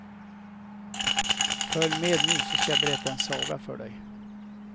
Följ med nu så ska jag berätta en saga för dig.